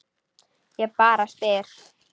Ég bara spyr.